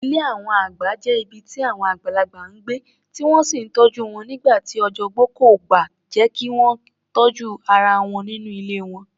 Ilé àwọn àgbà jẹ́ ibi tí àwọn àgbàlagbà ń gbé, tí wọ́n sì ń tọ́jú wọn nígbà tí ọjọ́ ogbó kò bá jẹ́ kí wọ́n tọ́jú ara wọn nínú ilé wọn.